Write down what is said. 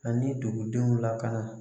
Ani dugudenw lakana